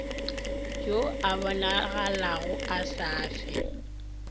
yo a bonagalago a safe